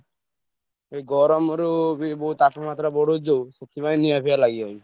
ଏଇ ଗରମରୁ ବି ବହୁତ ତାପମାତ୍ରାବଢୁଛି ଯୋଉ ସେଥିପାଇଁ ନିଆଁ ଫିଆ ଲାଗି ଯାଉଛି।